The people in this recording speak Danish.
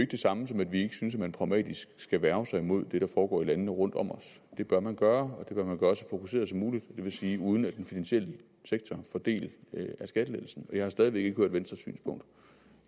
det samme som at vi ikke synes at man pragmatisk skal værge sig imod det der foregår i landene rundt om os det bør man gøre og så fokuseret som muligt det vil sige uden at den finansielle sektor får del i skattelettelsen jeg har stadig væk ikke hørt venstres synspunkt